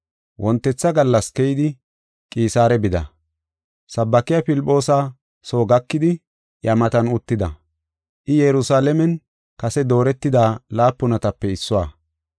Wontetha gallas keyidi, Qisaare bida. Sabaakiya Filphoosa soo gakidi iya matan uttida. I Yerusalaamen kase dooretida laapunatape issuwa.